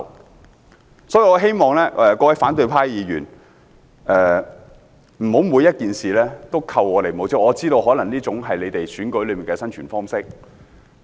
因此，我希望各位反對派議員，不要每件事都扣我們帽子，我知道這可能是他們在選舉中生存的方式。